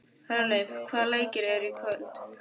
Hjörleif, hvaða leikir eru í kvöld?